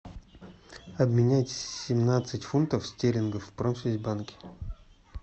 обменять семнадцать фунтов стерлингов в промсвязьбанке